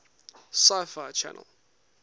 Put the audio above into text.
sci fi channel